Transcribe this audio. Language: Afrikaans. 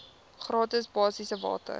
gratis basiese water